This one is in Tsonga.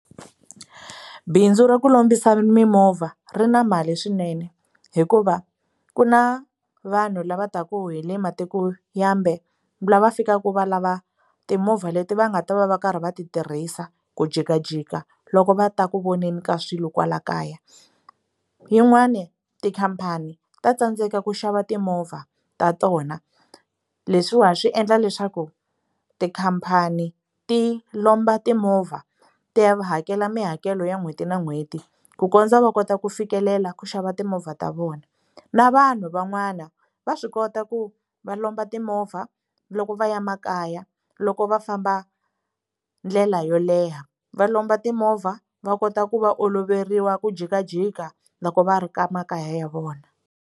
Bindzu ra ku lombisa mimovha ri na mali swinene hikuva ku na vanhu lava taka hile matiko mambe lava fikaka va lava timovha leti va nga ta va va ri karhi va ti tirhisa ku jikajika loko va ta ku voneni ka swilo kwala kaya yin'wani tikhampani ta tsandzeka ku xava timovha ta tona leswiwa swi endla leswaku tikhampani ti lomba timovha ti ya va hakela mihakelo ya n'hweti na n'hweti ku kondza va kota ku fikelela ku xava timovha ta vona na vanhu van'wana va swi kota ku va lomba timovha loko va ya makaya loko va famba ndlela yo leha va lomba timovha va kota ku va oloveriwa ku jikajika loko va ri ka makaya ya vona.